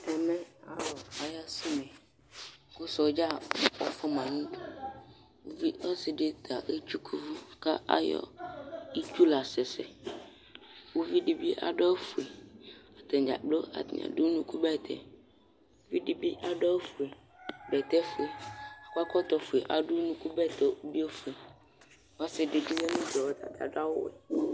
Ɛmɛ alu aya sɛ une Ku sɔɖza ɔfua ma nu uɖu Ɔsiɖi ta ɛtsuku uʋu Ku ayɔ itsúh la sɛsɛ Uʋiɖi bi aɖu awu fue Atani ɖza kplo, atani aɖu unukubɛtɛ Ɛɖibi aɖu awu fue, bɛtɛ fuɛ, akɔ ɛkɔtɔ fuɛ Aɖu unukubɛtɛ bi ɔfue Ɔsiɖi bi ya nu uɖu yɛ Ɔta aɖu awu wɛ